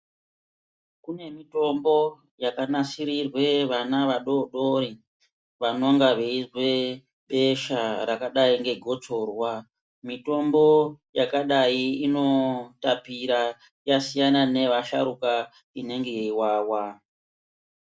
Kune mitombo yakanasirirwe vana vadodori vanonga veizwe besha rakadai negotsorwa. Mitombo yakadai inotapira yasiyana neyevasharukwa inonga yeivawa.